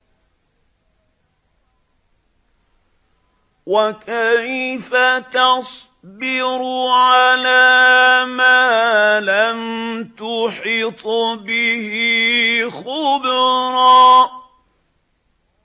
وَكَيْفَ تَصْبِرُ عَلَىٰ مَا لَمْ تُحِطْ بِهِ خُبْرًا